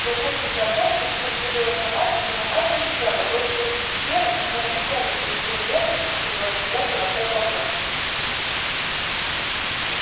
вернувшись домой и учуяв следы росомахи его мать зарычала бросилась в пещеру и с необычной для неё нежностью принялась лизать и ласкать волчонка